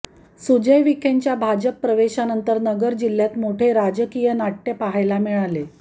सुजय विखेंच्या भाजप प्रवेशानंतर नगर जिल्ह्यात मोठे राजकीय नाट्य पाहायला मिळाले